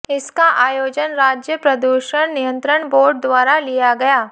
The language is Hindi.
इसका आयोजन राज्य प्रदूषण नियंत्रण बोर्ड द्वारा लिया गया